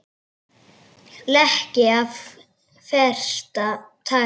Leki af versta tagi